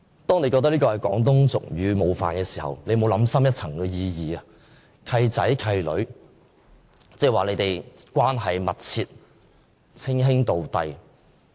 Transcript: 當他覺得這廣東俗語冒犯時，他有否想深一層，"契仔契女"是說他們關係密切，稱兄道弟？